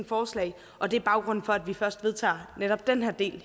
forslag og det er baggrunden for at vi først vedtager netop den her del